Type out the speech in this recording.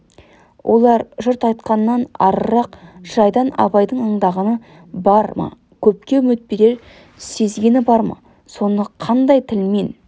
олар жұрт айтқаннан арырақ жайдан абайдың аңдағаны бар ма көпке үміт берер сезгені бар ма соны қандай тілмен